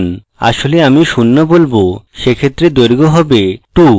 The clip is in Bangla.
আসলে আমি শূন্য বলবো সেক্ষেত্রে দৈর্ঘ্য হবে – 2